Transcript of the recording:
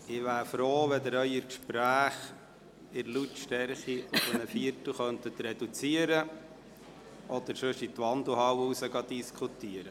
Ich wäre froh, wenn Sie Ihre Gespräche in der Lautstärke um einen Viertel reduzieren könnten oder aber in der Wandelhalle diskutieren.